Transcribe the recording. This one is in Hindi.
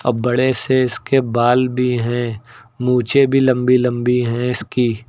अब बड़े से इसके बाल भी हैं मूछें भी लंबी लंबी हैं इसकी।